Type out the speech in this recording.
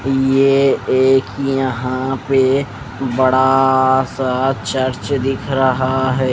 ये एक यहाँ पे बड़ाााा सा चर्च दिख रहा है।